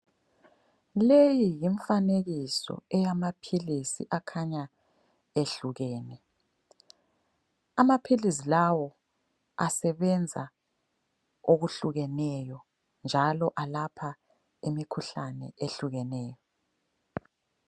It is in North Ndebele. Leyi yimfanekiso eyamaphilisi akhanya ehlukene, amaphilizi lawo asebenza okuhlukeneyo njalo alapha imikhuhlane ehlukeneyo.